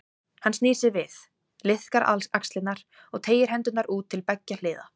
Hann snýr sér við, liðkar axlirnar og teygir hendurnar út til beggja hliða.